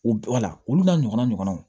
U wala olu n'a ɲɔgɔna ɲɔgɔnaw